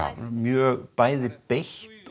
mjög bæði beitt